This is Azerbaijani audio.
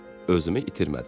Özümü itirmədim.